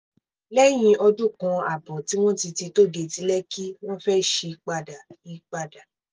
lẹ́yìn ọdún kan ààbọ̀ tí wọ́n ti ti tóó géètì lẹ́kì wọ́n fẹ́ẹ́ sí i padà i padà